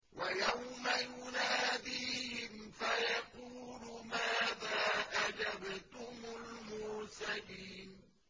وَيَوْمَ يُنَادِيهِمْ فَيَقُولُ مَاذَا أَجَبْتُمُ الْمُرْسَلِينَ